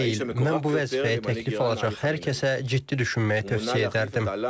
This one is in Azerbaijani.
Mən bu vəzifəyə təklif alacaq hər kəsə ciddi düşünməyi tövsiyə edərdim.